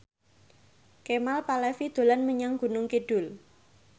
Kemal Palevi dolan menyang Gunung Kidul